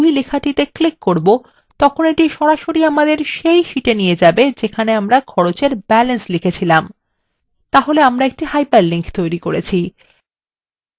এখন যখন আমরা sheet 2লেখাটিতে click করব তখন এটি সরাসরি আমাদের সেই sheet we নিয়ে যাবে যেখানে আমরা খরচ এর balance লিখেছি